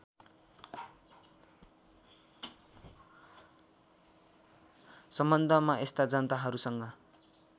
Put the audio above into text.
सम्बन्धमा यस्ता जनताहरूसँग